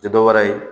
Tɛ dɔwɛrɛ ye